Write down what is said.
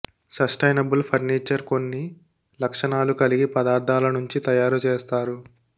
sustainable furniture కొన్ని లక్షణాలు కలిగి పదార్థాల నుంచి తయారు చేస్తారు